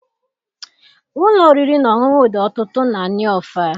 Ụlọ oriri na ọṅụṅụ dị ọtụtụ na Nọọfịa.